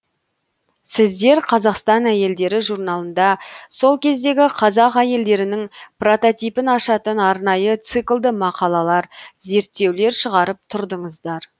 сіздер қазақстан әйелдері журналында сол кездегі қазақ әйелдерінің прототипін ашатын арнайы циклды мақалалар зерттеулер шығарып тұрдыңыздар